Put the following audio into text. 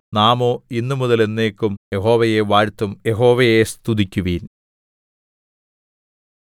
നാമോ ഇന്നുമുതൽ എന്നേക്കും യഹോവയെ വാഴ്ത്തും യഹോവയെ സ്തുതിക്കുവിൻ